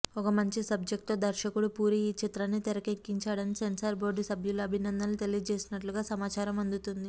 ఒక మంచి సబ్జెక్ట్తో దర్శకుడు పూరి ఈ చిత్రాన్ని తెరకెక్కించాడని సెన్సార్ బోర్డు సభ్యులు అభినందనలు తెలియజేసినట్లుగా సమాచారం అందుతుంది